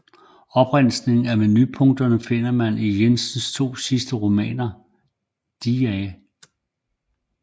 Opremsninger af menupunkter finder man i Jensens to sidste romaner Dr